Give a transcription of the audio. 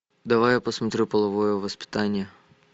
давай я посмотрю половое воспитание